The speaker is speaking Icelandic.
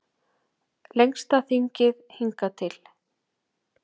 Lengsta þingið hingað til